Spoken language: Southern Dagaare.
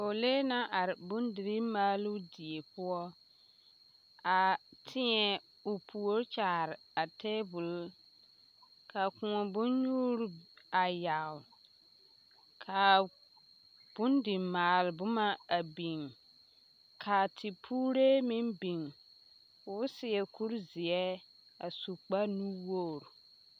Pɔgelee naŋ are bondirii maaloo die poɔ a tēɛ o puori kyaare a teebol ka kõɔ bonnyuuri a yagele ka bondimaale boma a biŋ ka tepuure meŋ biŋ k'o seɛ kuri zeɛ a su kpare nu-wogiri.